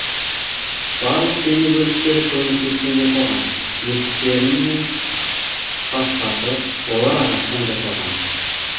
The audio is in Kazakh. барлық дене бөліктері көміртектен жасалған есіктерінен басқасы олар ағаштан жасалған